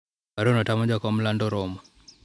barua no tamo jakom lando romo